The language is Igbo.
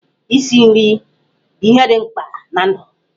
Isi nri bụ ihe dị mkpa na ndụ.